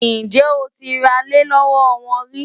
Ǹjẹ́ o ti ralẹ̀ lọ́wọ́ wọn rí?